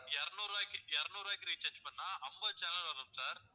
இருநூறு ரூபாய்க்கு இருநூறு ரூபாய்க்கு recharge பண்ணா ஐம்பது channel வரும் sir